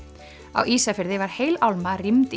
á Ísafirði var heil álma rýmd í